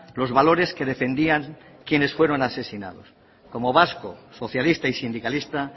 los valores que defendían quienes fueron asesinados como vasco socialista y sindicalista